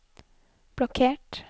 blokkert